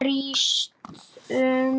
Brýst um.